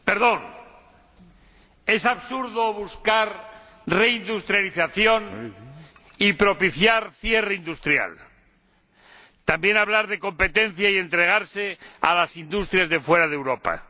Señor Presidente, es absurdo buscar reindustrialización y propiciar cierre industrial, también hablar de competencia y entregarse a las industrias de fuera de Europa.